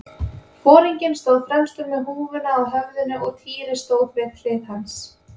Foringinn stóð fremstur með húfuna á höfðinu og Týri stóð við hlið hans.